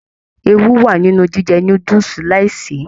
Ewú wa nínú jíjẹ núdúsí láì ṣe.